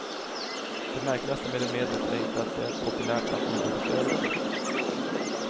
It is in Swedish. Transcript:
Det märkligaste med det medlet är inte att det är populärt bland idrottsutövare.